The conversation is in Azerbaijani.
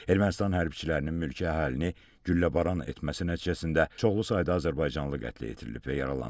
Ermənistan hərbçilərinin mülki əhalini gülləbaran etməsi nəticəsində çoxlu sayda azərbaycanlı qətlə yetirilib və yaralanıb.